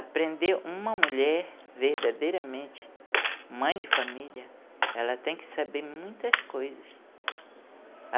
Aprender uma mulher verdadeiramente, mãe de família, ela tem que saber muitas coisas.